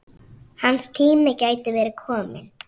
Hans tími gæti verið kominn.